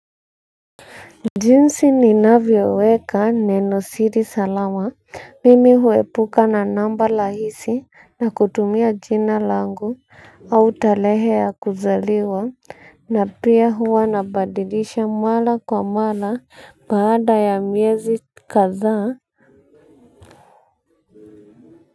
Jinsi ninavyoweka nenosiri salama mimi huepuka na namba lahisi na kutumia jina langu au talehe ya kuzaliwa na pia huwa nabadilisha mwala kwa mwala baada ya miezi kadhaa.